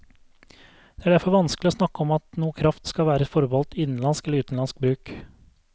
Det er derfor vanskelig å snakke om at noe kraft skal være forbeholdt innenlandsk eller utenlandsk bruk.